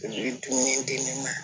I bɛ dumuni di ne ma